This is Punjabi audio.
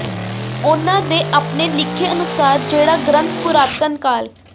ਉਨ੍ਹਾਂ ਦੇ ਆਪਣੇ ਲਿਖੇ ਅਨੁਸਾਰ ਜਿਹੜਾ ਗ੍ਰੰਥ ਪੁਰਾਤਨ ਕਾਲ